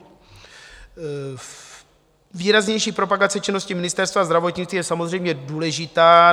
Výraznější propagace činnosti Ministerstva zdravotnictví je samozřejmě důležitá.